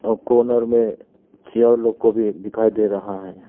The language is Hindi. और कॉर्नर में चेयर लोग को भी दिखाई दे रहा है।